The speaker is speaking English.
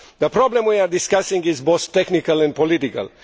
The problem we are discussing is both technical and political.